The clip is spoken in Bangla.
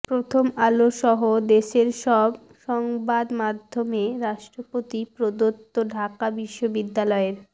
প্রথম আলোসহ দেশের সব সংবাদমাধ্যমে রাষ্ট্রপতি প্রদত্ত ঢাকা বিশ্ববিদ্যালয়ের